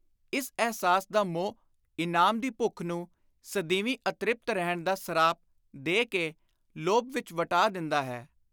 ਇਸ ਅਹਿਸਾਸ ਦਾ ਮੋਹ ਇਨਾਮ ਦੀ ਭੁੱਖ ਨੂੰ ਸਦੀਵੀ ਅਤ੍ਰਿਪਤ ਰਹਿਣ ਦਾ ਸਰਾਪ ਦੇ ਕੇ ਲੋਭ ਵਿਚ ਵਟਾ ਦਿੰਦਾ ਹੈ।